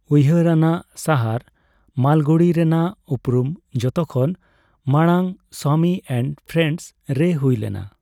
ᱩᱭᱦᱟᱹᱨ ᱟᱱᱟᱜ ᱥᱟᱦᱟᱨ ᱢᱟᱞᱜᱩᱲᱤ ᱨᱮᱱᱟᱜ ᱩᱯᱨᱩᱢ ᱡᱚᱛᱚᱠᱷᱚᱱ ᱢᱟᱲᱟᱝ 'ᱥᱣᱟᱢᱤ ᱮᱱᱰ ᱯᱨᱮᱱᱰᱥ' ᱨᱮ ᱦᱩᱭ ᱞᱮᱱᱟ᱾